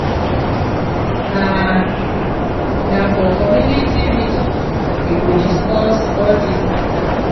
na na for community meeting we go discuss all dis mata.